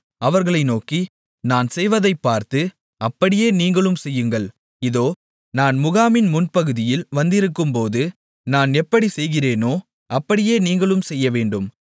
அவர்களை நோக்கி நான் செய்வதைப் பார்த்து அப்படியே நீங்களும் செய்யுங்கள் இதோ நான் முகாமின் முன்பகுதியில் வந்திருக்கும்போது நான் எப்படிச் செய்கிறேனோ அப்படியே நீங்களும் செய்யவேண்டும்